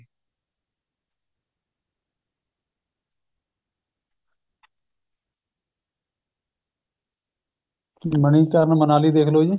ਮਨੀਕਰਣ ਮਨਾਲੀ ਦੇਖਲੋ ਜੀ